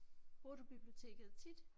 Bruger du biblioteket tit?